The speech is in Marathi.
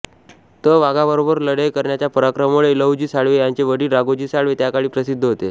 त वाघाबरोबर लढाई करण्याच्या पराक्रमामुळे लहुजी साळवे यांचे वडील राघोजी साळवे त्याकाळी प्रसिद्ध होते